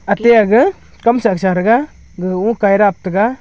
ate aga kamsa sarega ga oka rab taiga.